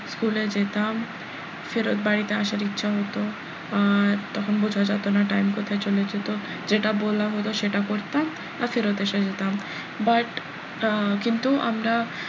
school এ যেতাম ফেরত বাড়িতে আসার ইচ্ছা হতো আর তখন বোঝা যেত না time কোথায় চলে যেত যেটা বললাম ওরা সেটা করতাম আর ফেরত এসে যেতাম but আহ কিন্তু আমরা,